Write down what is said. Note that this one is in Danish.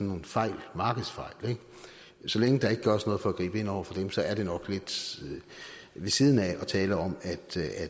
en fejl markedsfejl og så længe der ikke gøres noget for at gribe ind over for dem så er det nok lidt ved siden af at tale om at